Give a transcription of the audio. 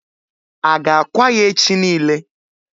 A ga akwa ya echi niile?